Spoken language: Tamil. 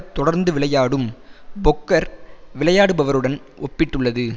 தொடர்ந்து விளையாடும் பொக்கர் விளையாடுபவருடன் ஒப்பிட்டுள்ளது